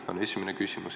See on esimene küsimus.